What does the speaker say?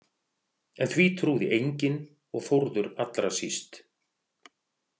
En því trúði enginn og Þórður allra síst.